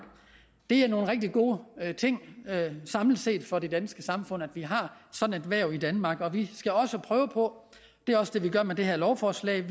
det er nogle rigtig gode ting samlet set for det danske samfund at vi har sådan et erhverv i danmark og vi skal også prøve på det er også det vi gør med det her lovforslag